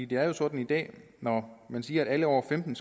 det er jo sådan i dag at når man siger at alle over femten